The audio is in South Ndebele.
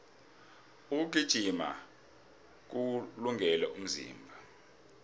ukugijima kuwulungele umzimba